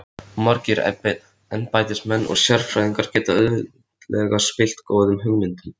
Of margir embættismenn og sérfræðingar geta auðveldlega spillt góðum hugmyndum.